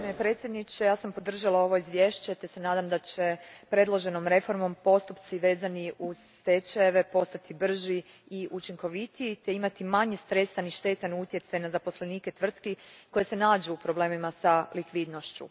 Gospodine predsjedniče, podržala sam izvješće te se nadam da će predloženom reformom postupci vezani uz stečajeve postati brži i učinkovitiji te imati manje stresan i štetan utjecaj na zaposlenike tvrtki koje se nađu u problemima s likvidnošću.